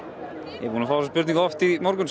ég er búinn að fá þessa spurningu oft í morgun